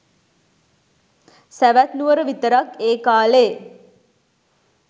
සැවැත් නුවර විතරක් ඒ කාලේ